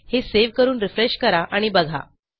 हे सेव्ह करून रिफ्रेश करा आणि बघा